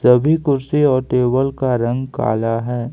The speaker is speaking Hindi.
सभी कुर्सी और टेबल का रंग काला है।